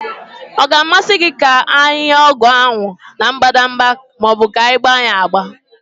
Ọ ga-amasị gị ka anyị nye ọgwụ ndị ahụ na mbadamba ma ọ bụ ka anyị gba ya agba?